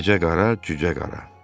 "Keçə qara, cücə qara."